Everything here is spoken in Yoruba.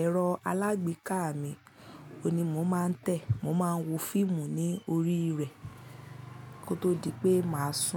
ẹ̀rọ alágbèéká mi, òun ni mo máa ń tẹ. Mo máa ń wo fíìmù ní orí rẹ̀ kó tó di pé màá sùn.